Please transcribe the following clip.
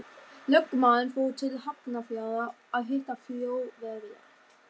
Það er bara smá kúla hjá gagnauganu.